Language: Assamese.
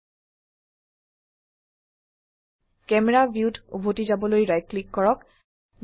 ক্যামেৰা ভিউত উভতি যাবলৈ ৰাইট ক্লিক কৰক